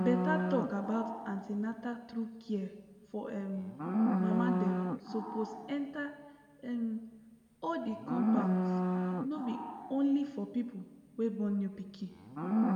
better talk about an ten na true care for um mama dem suppose enter um all the compounds no be only for people wey born new pikin